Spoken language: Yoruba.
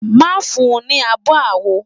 Má fun ní abo àwo.